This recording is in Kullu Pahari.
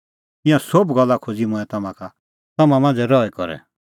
ईंयां सोभ गल्ला खोज़ी मंऐं तम्हां का तम्हां मांझ़ै रही करै